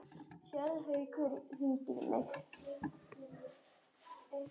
Séra Haukur hringdi í mig.